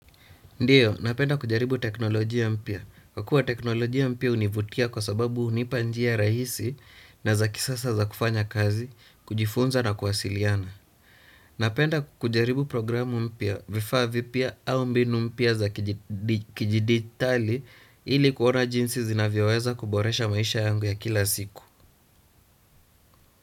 Ndiyo, napenda kujaribu teknolojia mpya. Kwa kuwa teknolojia mpya hunivutia kwa sababu hunipa njia rahisi na za kisasa za kufanya kazi, kujifunza na kuwasiliana. Napenda kujaribu programu mpya, vifaa vipya au mbinu mpya za kijiditali ili kuona jinsi zinavyoweza kuboresha maisha yangu ya kila siku.